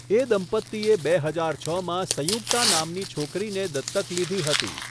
એ દંપતીએ બે હજારમાં સંયુક્તા નામની છોકરીને દત્તક લીધી હતી.